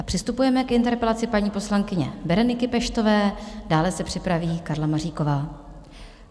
A přistupujeme k interpelaci paní poslankyně Bereniky Peštové, dále se připraví Karla Maříková.